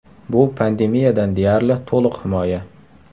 Bu pandemiyadan deyarli to‘liq himoya.